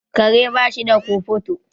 Kare bashi da kofoto